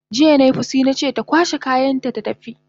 Jiya nai fushi nace ta kwashe kayanta ta tafi!